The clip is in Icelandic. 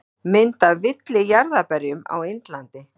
Mynd af villijarðarberjum á Indlandi.